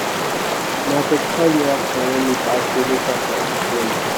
na thirty-five naira for one metre i pay make tractor help me clear land